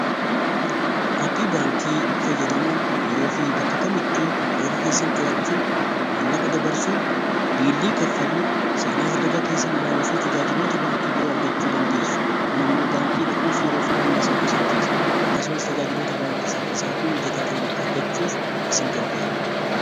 Aappii baankii fayyadamuun yeroo fi bakka kamittuu herreega keessan to'achuu, maallaqa dabarsuu, biilii kaffaluu, seenaa hiraga keessan ilaalu fi tajaajiloota baankii biroo argachuu dandeessu. Kun immoo baankii dhaquuf yeroo fi humna siniif qusachiisa. Akkasumas tajaajiloota baankii saffisaa fi mijataa ta'an argachuuf isin gargaara.